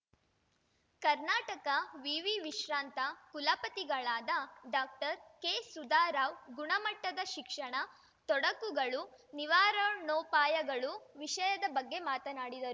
ಕರ್ನಾಟಕ ವಿವಿ ವಿಶ್ರಾಂತ ಕುಲಪತಿಗಳಾದ ಡಾಕ್ಟರ್ ಕೆಸುಧಾ ರಾವ್‌ ಗುಣಮಟ್ಟದ ಶಿಕ್ಷಣ ತೊಡಕುಗಳು ನಿವಾರಣೋಪಾಯಗಳು ವಿಷಯದ ಬಗ್ಗೆ ಮಾತನಾಡಿದರು